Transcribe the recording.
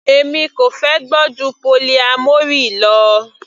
Èmi kò fẹ́ gbọ́ ju polyamory lọ.